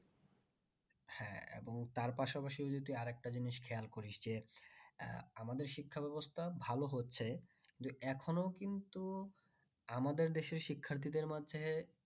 হ্যাঁ এবং তার পাশাপাশি যদি আরেকটা জিনিস খেয়াল করিস যে আমাদের শিক্ষা ব্যবস্থা ভালো হচ্ছে যে এখনো কিন্তু আমাদের দেশের শিক্ষার্থীদের মাঝে